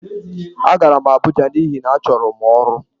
Agara m Abuja n'ihi na achọrọ m ọrụ.